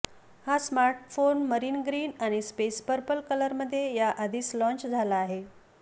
हा smartphone marine green आणि space purple कलरमध्ये याआधीच लॉन्च झाला आहे